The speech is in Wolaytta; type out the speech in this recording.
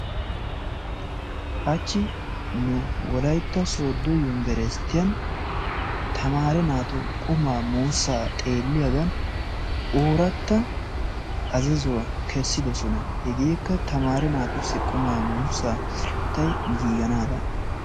Hachchi nu wolaytta sodo yunberesttiyan tamaare naatu qumma muusa xeeliyagan ooratta azazuwaa keessidosona. Hegeekka tamaare naatussi qumma muussa sirattay giganadan.